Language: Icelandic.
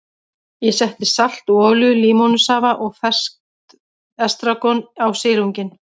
Ég setti salt og olíu, límónusafa og ferskt estragon á silunginn.